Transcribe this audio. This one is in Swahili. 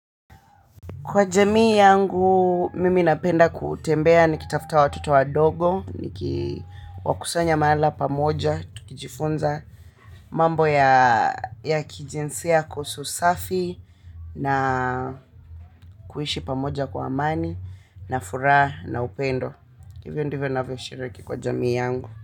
Kwa jamii yangu, mimi napenda kutembea nikitafuta watoto wadogo, niwakusanya mahala pamoja, tukijifunza, mambo ya kijinsia kuhusu usafi, na kuishi pamoja kwa amani, na furaha, na upendo. Hivyo ndivyo ninavyoshiriki kwa jamii yangu.